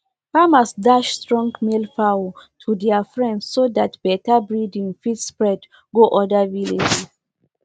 farmers dash strong male fowls to dia friends so dat better breading fit spread go oda villages